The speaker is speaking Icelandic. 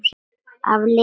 Af Lenu.